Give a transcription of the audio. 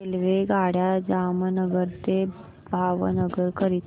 रेल्वेगाड्या जामनगर ते भावनगर करीता